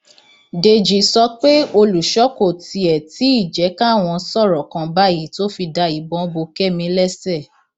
dèjì sọ pé olùṣọ kò tiẹ tí ì jẹ káwọn sọrọ kan báyìí tó fi da ìbọn bo kẹmi lẹsẹ